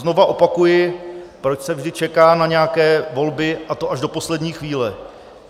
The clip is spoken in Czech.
Znova opakuji: proč se vždy čeká na nějaké volby, a to až do poslední chvíle?